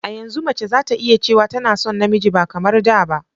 A yanzu mace zata iya cewa tana son namiji ba kamar da ba